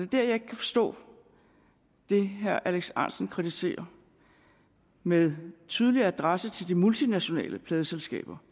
dér jeg ikke kan forstå det herre alex ahrendtsen kritiserer med tydelig adresse til de multinationale pladeselskaber